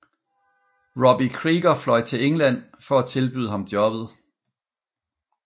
Robbie Krieger fløj til England for at tilbyde ham jobbet